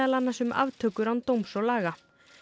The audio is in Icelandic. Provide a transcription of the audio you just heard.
annars um aftökur án dóms og laga